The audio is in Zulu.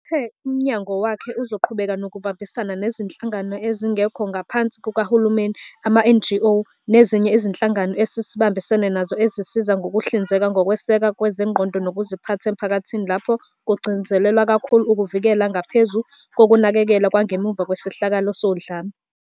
Uthe umnyango wakhe uzoqhubeka nokubambisana nezinhlangano ezingekho ngaphansi kukahulumeni, ama-NGO, nezinye izinhlangano esibambisene nazo ezisiza ngokuhlinzeka ngokwesekwa kwezengqondo nokuziphatha emphakathini lapho kugcizelelwa kakhulu ukuvikela ngaphezu kokunakekelwa kwangemva kwesehlakalo sodlame.